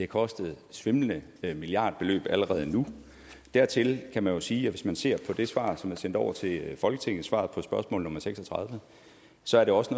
kostet svimlende milliardbeløb allerede nu dertil kan man jo sige at hvis man ser på det svar som er sendt over til folketinget svaret på spørgsmål nummer seks og tredive så er det også